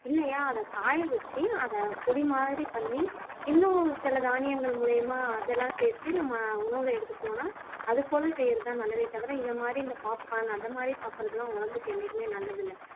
இல்லையா அத காய வச்சு அத பொடி மாதிரி பண்ணி இன்னும் சில தானியங்கள் மூலியமா அதெல்லாம் சேர்த்து நம்ம உணவுல எடுத்துக்கிட்டோம்ன்னா அது போல செய்யறது தான் நல்லதே தவிர இதை மாதிரி இந்த popcorn அந்த மாதிரி சாப்பிடுறது எல்லாம் உடம்புக்கு என்னைக்குமே நல்லதில்ல